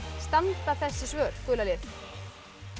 standa þessi svör gula lið